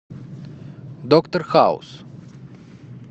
доктор хаус